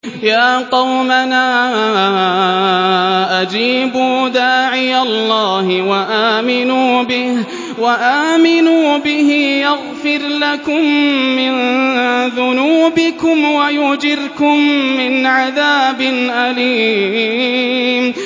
يَا قَوْمَنَا أَجِيبُوا دَاعِيَ اللَّهِ وَآمِنُوا بِهِ يَغْفِرْ لَكُم مِّن ذُنُوبِكُمْ وَيُجِرْكُم مِّنْ عَذَابٍ أَلِيمٍ